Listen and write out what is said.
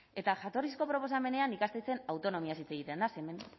eta jatorrizko proposamenean ikastetxeen autonomiaz hitz egiten da ze hemen